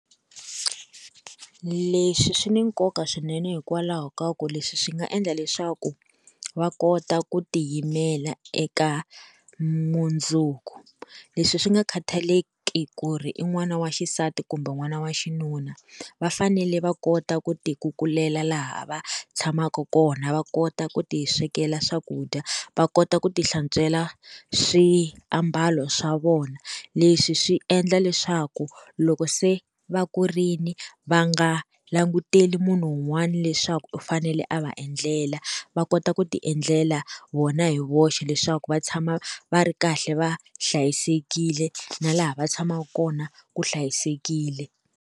Leswi swi ni nkoka swinene hikwalaho ka ku leswi swi nga endla leswaku va kota ku tiyimela eka mundzuku leswi swi nga khataleki ku ri i n'wana wa xisati kumbe n'wana wa xinuna va fanele va kota ku tikukulela laha va tshamaka kona va kota ku ti swekela swakudya va kota ku ti hlantswela swiambalo swa vona leswi swi endla leswaku loko se va kurile va nga languteli munhu un'wana leswaku u fanele a va endlela va kota ku ti endlela vona hi voxe leswaku va tshama va ri kahle va hlayisekile na laha va tshamaka kona ku hlayisekile.